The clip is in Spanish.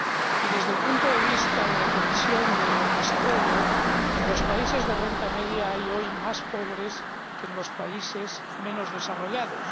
Y, desde el punto de vista de la Comisión de Desarrollo, en los países de renta media hay hoy más pobres que en los países menos desarrollados.